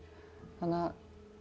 þannig